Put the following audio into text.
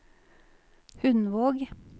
Hundvåg